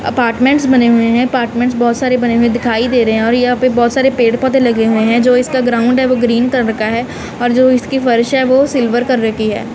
Apartments बने हुए हैं अपार्टमेंट्स बहुत सारे बने हुए दिखाई दे रहे हैं और यहां पे बहुत सारे पेड़ पौधे लगे हुए हैं जो इसका ग्राउंड है वो ग्रीन कलर का है और जो इसकी फर्श है वो सिल्वर कलर की है।